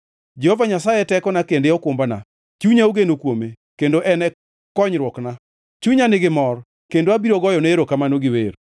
Jehova Nyasaye e tekona kendo okumbana; chunya ogeno kuome kendo en e konyruokna. Chunya nigi mor kendo abiro goyone erokamano gi wer.